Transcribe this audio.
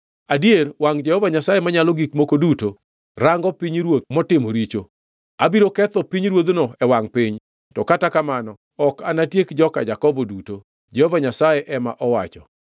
“Adier wangʼ Jehova Nyasaye Manyalo Gik Moko Duto rango pinyruoth motimo richo. Abiro ketho pinyruodhno e wangʼ piny, to kata kamano, ok anatiek joka Jakobo duto,” Jehova Nyasaye ema owacho.